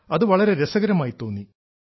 അത് വളരെ രസകരമായി തോന്നി